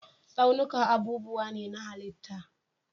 Tsaunuka abubuwa ne na halitta.